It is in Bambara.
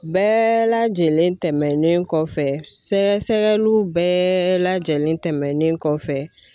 Bɛɛ lajɛlen tɛmɛnen kɔfɛ sɛgɛsɛgɛliw bɛɛ lajɛlen tɛmɛnen kɔfɛ